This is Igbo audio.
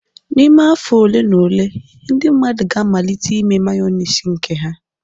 N'ime afọ ole na ole, ndị mmadụ ga-amalite ime Mayonezi nke ha